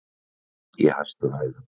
Verð í hæstu hæðum